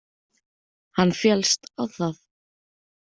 Hann féllst á það.